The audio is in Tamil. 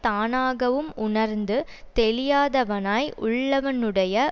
தானாகவும் உணர்ந்து தெளியாதவனாய் உள்ளவனுடைய